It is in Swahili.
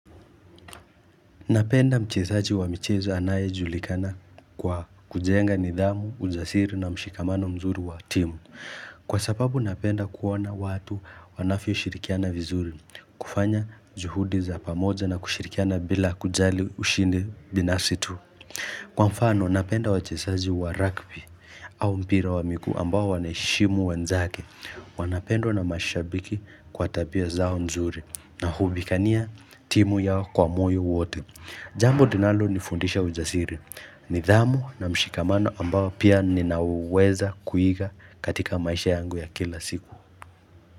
Napenda mchezaji wa michezo anayejulikana kwa kujenga nidhamu, ujasiri na mshikamano mzuri wa timu. Kwa sababu napenda kuona watu wanavyoshirikiana vizuri, kufanya juhudi za pamoja na kushirikiana bila kujali ushindi binafsi tu. Kwa mfano, napenda wachezaji wa rugby au mpira wa miguu ambao wana heshimu wenzake. Wanapendwa na mashabiki kwa tabia zao nzuri na hupigania timu yao kwa moyo wote. Jambo linalonifundisha ujasiri. Nidhamu na mshikamano ambao pia ninaweza kuiga katika maisha yangu ya kila siku.